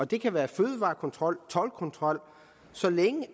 det kan være fødevarekontrol toldkontrol så længe